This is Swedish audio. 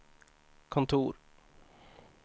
kontor